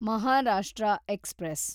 Maharashtra express